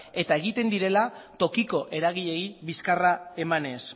eta egiten direla tokiko eragileei bizkarra emanez